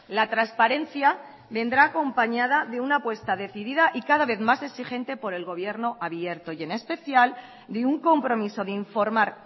la transparencia vendrá acompañada de una apuesta decidida y cada vez más exigente por el gobierno abierto y en especial de un compromiso de informar